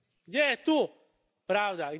Gdje je tu pravda?